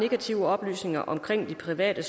sat af